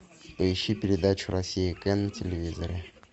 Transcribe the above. поищи передачу россия к на телевизоре